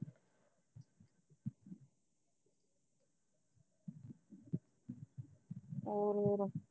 ਹੋਰ ਫਿਰ